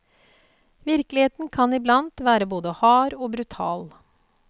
Virkeligheten kan iblandt være både hard og brutal.